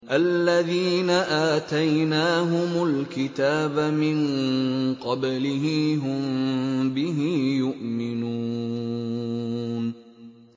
الَّذِينَ آتَيْنَاهُمُ الْكِتَابَ مِن قَبْلِهِ هُم بِهِ يُؤْمِنُونَ